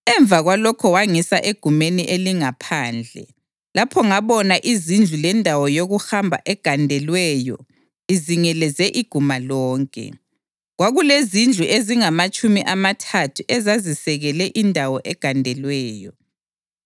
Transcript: Emva kwalokho wangisa egumeni elingaphandle. Lapho ngabona izindlu lendawo yokuhamba egandelweyo izingeleze iguma lonke; kwakulezindlu ezingamatshumi amathathu ezazisekele indawo egandelweyo.